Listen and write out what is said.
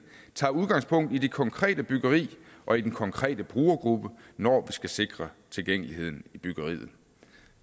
tager udgangspunkt i det konkrete byggeri og i den konkrete brugergruppe når vi skal sikre tilgængeligheden i byggeriet